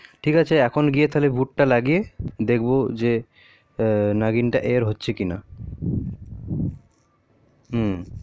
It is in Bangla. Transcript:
ঠিক আছে এখন গিয়ে তালে voot টা লাগিয়ে দেখবো নাগিন টা ear হচ্ছে কি না